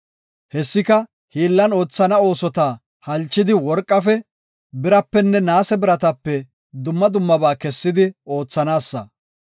Hessika, hiillan oothana oosota halchidi worqafe, birapenne naase biratape dumma dummaba kessidi oothanaasa.